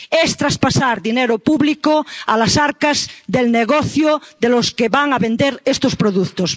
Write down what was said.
Es traspasar dinero público a las arcas del negocio de los que van a vender estos productos.